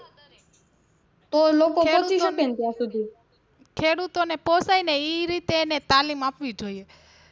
ખેડૂતો ને પોસાય ને ઈ રીતે એને તાલીમ આપવી જોઈએ.